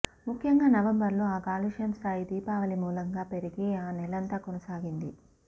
ముఖ్యంగా నవంబర్లో ఆ కాలుష్యం స్థాయి దీపావళి మూలంగా పెరిగి ఆ నెలంతా కొనసాగింది